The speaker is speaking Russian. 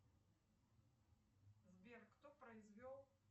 сбер кто произвел